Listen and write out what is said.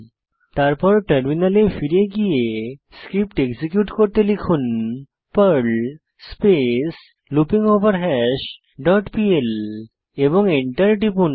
তারপর টার্মিনালে ফিরে গিয়ে স্ক্রিপ্ট এক্সিকিউট করতে লিখুন পার্ল স্পেস লুপিঙ্গভারহাস ডট পিএল এবং এন্টার টিপুন